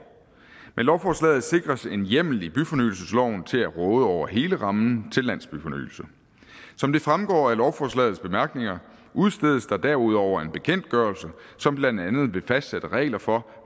med lovforslaget sikres en hjemmel i byfornyelsesloven til at råde over hele rammen til landsbyfornyelse som det fremgår af lovforslagets bemærkninger udstedes der derudover en bekendtgørelse som blandt andet vil fastsætte regler for